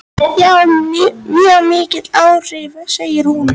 Já, mjög mikil áhrif, segir hún.